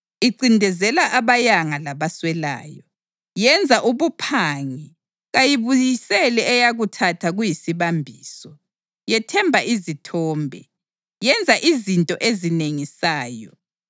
Incindezela abayanga labaswelayo. Yenza ubuphangi. Kayibuyiseli eyakuthatha kuyisibambiso. Yethemba izithombe. Yenza izinto ezinengisayo.